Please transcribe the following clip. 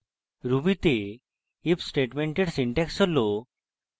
ruby the if স্টেটমেন্টের syntax হল: